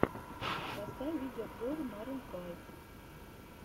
поставь видеообзоры марун файв